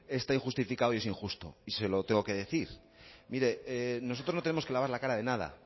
está injustificado y es injusto y se lo tengo que decir mire nosotros no tenemos que lavar la cara de nada